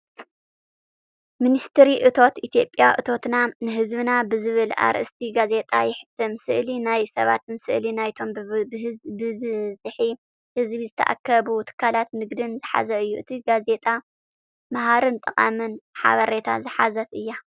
ሚኒስትሪ እቶት ኢትዮጵያ 'እቶትና ንህዝብና' ብዝብል ኣርእስቲ ጋዜጣ የሕትም። ስእሊ ናይ ሰባትን ስእሊ ናይቶም ብብዝሒ ህዝቢ ዝተኣከቡ ትካላት ንግዲን ዝሓዘ እዩ። እታ ጋዜጣ መሃርን ጠቓምን ሓበሬታ ዝሓዘት እያ።